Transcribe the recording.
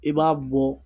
I b'a bɔ